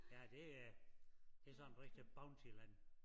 Ja det er det sådan rigtig Bountyland